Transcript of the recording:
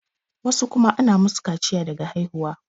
wasu kuma ana musu kaciya daga haihuwa